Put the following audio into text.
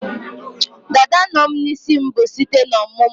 Dada no'm -n'isim bu site n'ọmụmụ